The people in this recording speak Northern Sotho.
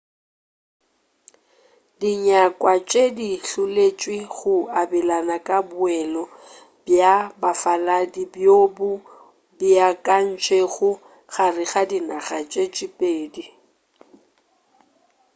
dinyakwa tše di hloletšwe go abelana ka boelo bja bafaladi bjoo bo beakantšwego gare ga dinaga tše tše pedi